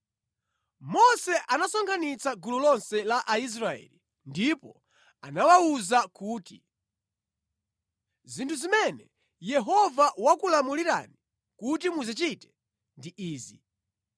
Mose anasonkhanitsa gulu lonse la Aisraeli ndipo anawawuza kuti, “Zinthu zimene Yehova wakulamulirani kuti muzichite ndi izi: